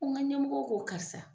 Fo n ka ɲɛmɔgɔ kɔ karisa.